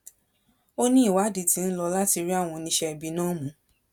ó ní ìwádìí tí ń lò láti rí àwọn oníṣẹẹbí náà mú